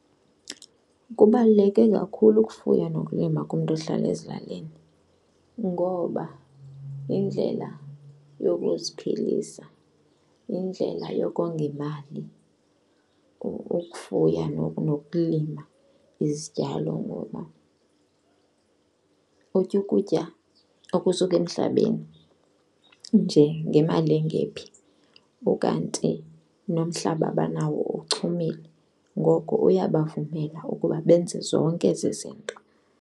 Kubaluleke kakhulu ukufuya nokulima kumntu ohlala ezilalini ngoba yindlela yokuziphilisa, yindlela yokonga imali ukufuya nokulima izityalo ngoba utya ukutya okusuka emhlabeni nje ngemali engephi, ukanti nomhlaba abanawo uchumile ngoko uyabavumela ukuba benze zonke ezi zinto.